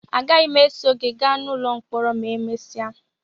Agaghị m eso gị gaa n'ụlọ mkpọrọ ma emesịa